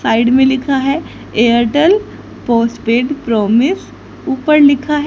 side में लिखा है एयरटेल पोस्टपेड प्रॉमिस ऊपर लिखा है--